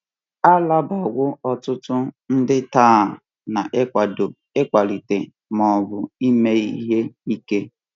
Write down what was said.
A rabawo ọtụtụ ndị taa n’ịkwado, ịkwalite, ma ọ bụ ime ihe ike.